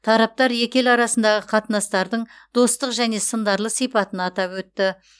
тараптар екі ел арасындағы қатынастардың достық және сындарлы сипатын атап өтті